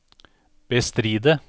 bestride